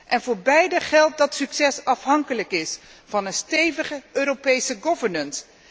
En voor beide geldt dat succes afhankelijk is van een stevige Europese governance